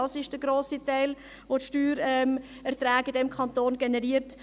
Das ist der grosse Teil, der die Steuererträge in diesem Kanton generiert.